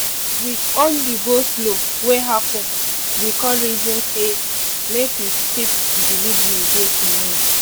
with all the go-slow wey happen we con reason say make we shift the delivery go tomorrow